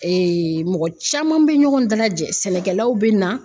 mɔgɔ caman bɛ ɲɔgɔn dalajɛ sɛnɛkɛlaw bɛ na.